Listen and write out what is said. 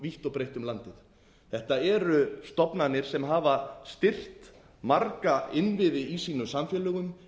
vítt og breitt um landið þetta eru stofnanir sem hafa styrkt marga innviði í sínum samfélögum